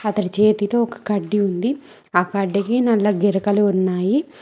అతడి జెబిలో ఒక కడ్డీ ఉంది ఆ కడ్డీకి నల్ల గెరకలు ఉన్నాయి.